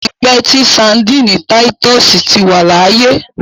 Ó ti pẹ́ tí Sandíínì títúsìì ti wà láyé.